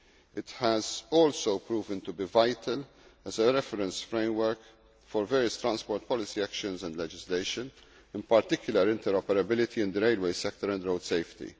It has also proved to be vital as a reference framework for various transport policy actions and legislation in particular, interoperability in the railway sector and road safety.